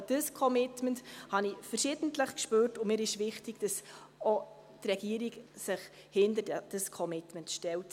Ich glaube, dieses Commitment habe ich verschiedentlich gespürt, und es ist mir wichtig, dass Sie wissen, dass sich auch die Regierung hinter dieses Commitment stellt.